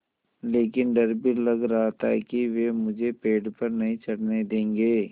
लेकिन डर भी लग रहा था कि वे मुझे पेड़ पर नहीं चढ़ने देंगे